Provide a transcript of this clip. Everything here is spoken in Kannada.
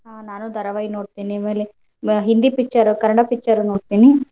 ಹಾ ನಾನು ಧಾರಾವಾಹಿ ನೋಡ್ತೀನಿ ಆಮೇಲೆ ಹಿಂದಿ picture ಕನ್ನಡ picture ನೋಡ್ತೇನಿ.